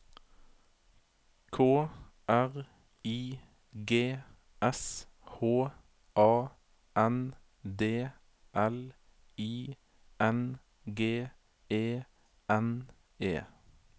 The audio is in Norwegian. K R I G S H A N D L I N G E N E